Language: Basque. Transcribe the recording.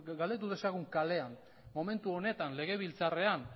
galdetu dezagun kalean momentu honetan legebiltzarrean